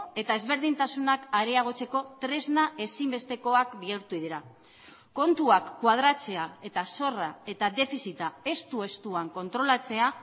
eta ezberdintasunak areagotzeko tresna ezinbestekoak bihurtu dira kontuak koadratzea eta zorra eta defizita estu estuan kontrolatzea